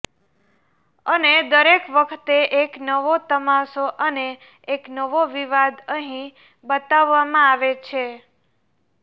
અને દરેક વખતે એક નવો તમાશો અને એક નવો વિવાદ અહીં બતાવામાં આવે છે